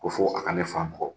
Ko fɔ a ka ne fa bugɔ